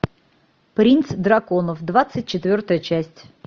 принц драконов двадцать четвертая часть